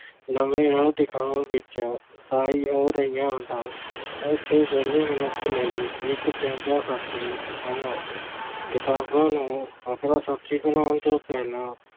ਨਵੇਂ ਰਾਹ ਦਿਖਾਉਣ ਵਿੱਚ ਸਹਾਈ ਹੋ ਰਹੀਆਂ ਹਨ। ਉਥੇ ਵਿਹਲੇ ਮਨੁੱਖ ਲਈ ਇਕ ਚੰਗਾ ਸਾਥੀ ਹਨ। ਕਿਤਾਬਾਂ ਨੂੰ ਆਪਣਾ ਸਾਥੀ ਬਣਾਉਣ ਤੋਂ ਪਹਿਲਾਂ